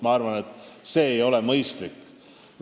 Ma arvan, et see ei ole mõistlik.